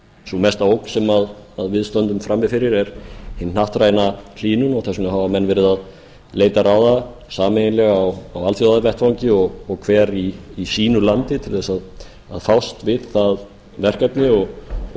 sú mesta ógn sem við stöndum frammi fyrir er hin hnattræna hlýnun og þess vegna hafa menn verið að leita ráða sameiginlega og á alþjóðavettvangi og hver í sínu landi til að fást við það verkefni og